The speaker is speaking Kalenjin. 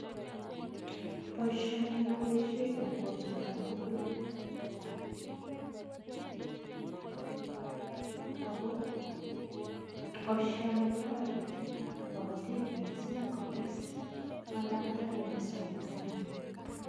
Boisioni ko boisietab kolsetab ingwek ako boisioni kotoreti kabatiik mising kotes bandaptai nebo sobengwai.